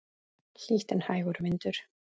Hlýtt en hægur vindur.